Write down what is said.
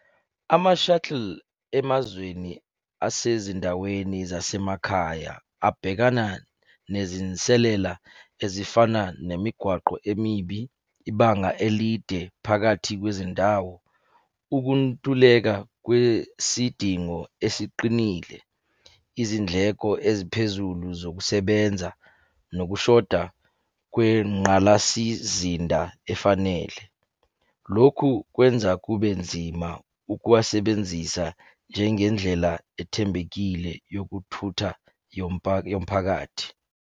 Ama-shuttle emazweni asezindaweni zasemakhaya abhekana nezinselela ezifana nemigwaqo emibi, ibanga elide phakathi kwezindawo. Ukuntuleka kwesidingo esiqinile, izindleko eziphezulu zokusebenza, nokushoda kwengqalasizinda efanele. Lokhu kwenza kube nzima ukuwasebenzisa njengendlela ethembekile yokuthutha yomphakathi.